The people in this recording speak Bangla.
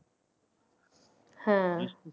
হ্যাঁ